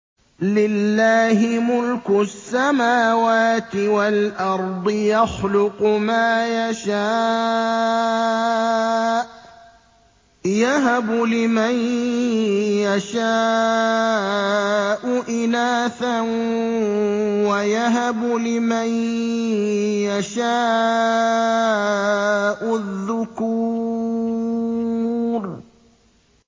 لِّلَّهِ مُلْكُ السَّمَاوَاتِ وَالْأَرْضِ ۚ يَخْلُقُ مَا يَشَاءُ ۚ يَهَبُ لِمَن يَشَاءُ إِنَاثًا وَيَهَبُ لِمَن يَشَاءُ الذُّكُورَ